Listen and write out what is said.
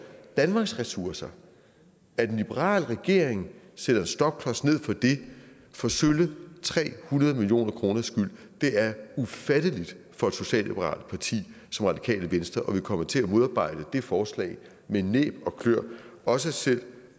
danmarks ressourcer at en liberal regering sætter en stopklods ned for det for sølle tre hundrede million krs skyld er ufatteligt for et socialliberalt parti som radikale venstre og vi kommer til at modarbejde det forslag med næb og kløer også selv